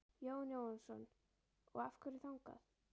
Jóhann Jóhannsson: Og af hverju þangað?